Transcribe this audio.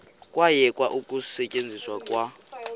kwayekwa ukusetyenzwa kwa